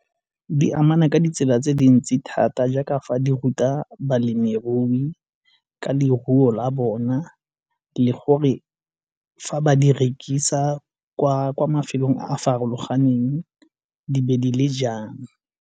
Di amana ka ditsela tse dintsi thata jaaka fa di ruta balemirui ka leruo la bona le gore fa ba di rekisa kwa mafelong a a farologaneng di be di le jang.